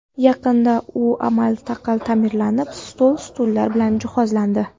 Yaqinda u amal-taqal ta’mirlanib, stol-stullar bilan jihozlandi.